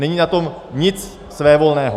Není na tom nic svévolného.